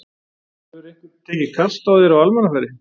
Hefur einhver tekið kast á þér á almannafæri?